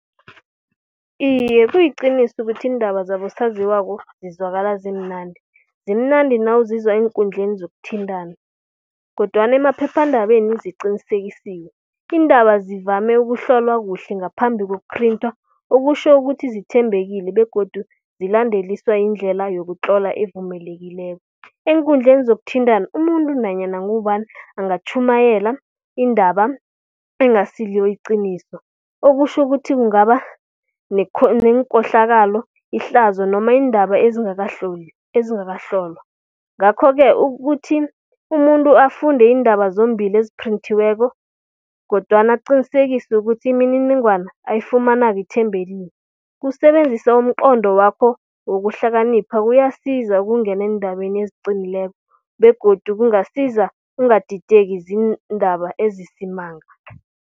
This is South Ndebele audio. Iye, kuliqiniso ukuthi iindaba zabosaziwako zizwakala zimnandi. Zimnandi nawuzizwa eenkundleni zokuthintana kodwana emaphephandabeni ziqinisekisiwe. Iindaba zivame ukuhlolwa kuhle ngaphambi kokuphrinthwa okutjho ukuthi zithembekile begodu zilandeliswa indlela yokutlolwa evumekelileko. Eenkundleni zokuthintana umuntu nanyana ngubani angatjhumayela indaba engasilo iqiniso okutjho ukuthi kungaba nekohlakalo, ihlazo noma iindaba ezingakahlolwa. Ngakho-ke ukuthi umuntu afunde iindaba zombili eziphrinthiweko kodwana aqinisekise ukuthi imininingwana ayifumanako ithembekile, kusebenzisa umnqondo wakho wokuhlakanipha kuyasiza ukungena eendabeni eziqinileko begodu kungasiza ungadideki ziindaba ezisimanga.